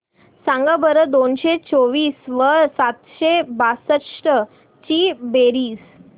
सांगा बरं दोनशे चोवीस व सातशे बासष्ट ची बेरीज